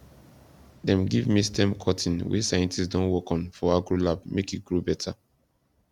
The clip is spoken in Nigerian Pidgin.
dem give me stem cutting wey scientists don work on for agro lab make e grow better